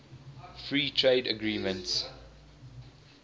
free trade agreements